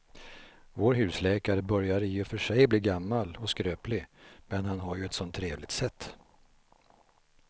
Vår husläkare börjar i och för sig bli gammal och skröplig, men han har ju ett sådant trevligt sätt!